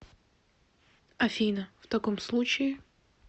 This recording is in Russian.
афина в таком случае